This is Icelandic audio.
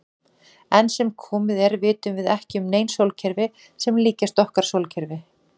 Enn sem komið er vitum við ekki um nein sólkerfi sem líkjast okkar sólkerfi.